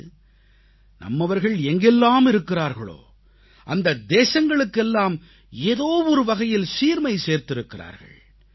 அதாவது நம்மவர்கள் எங்கெல்லாம் இருக்கிறார்களோ அந்த தேசங்களுக்கெல்லாம் ஏதோ ஒரு வகையில் சீர்மை சேர்த்திருக்கிறார்கள்